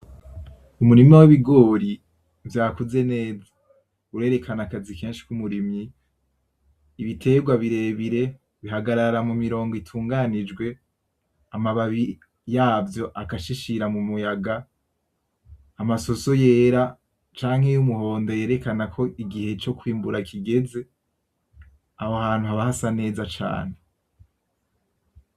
Umurima w'ibigori vyakuze neza, urerekana akazi kenshi k'umurimyi. Ibiterwa birebire bihagarara mumirongo utunganijwe, amababi yavyo agashishira mumuyaga. Amasoso yera canke y'umuhondo yerekana ko igihe cokwimbura kigeze. Aho hantu haba hasa neza cane.